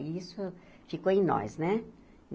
E isso ficou em nós, né?